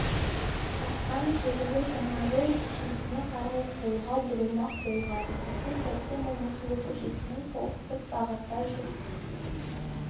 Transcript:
жатқан көлігі жаңажол көшесіне қарай солға бұрылмақ болған осы сәтте момышұлы көшесімен солтүстік бағытта жүк